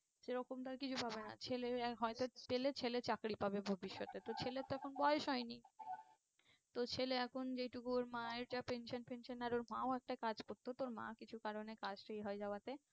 সে রকম তো আর কিছু পাবে না ছেলে হয়তো পেলে ছেলে চাকরি পাবে ভবিষ্যতে তো ছেলের তো এখন বয়স হয়নি তো ছেলে এখন যেহেতু ওর মা একটা pension ফেনশন আর ওর মা ও একটা কাজ করতো তো ওর মা কিছু কারণে কাজটা এ হয়ে যাওয়াতে